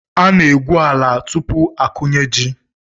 Ana-egwu ala tupu akụnye ji..